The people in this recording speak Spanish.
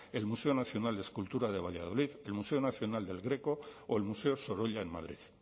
el museo nacional de escultura de valladolid el museo nacional del greco o el museo sorolla en madrid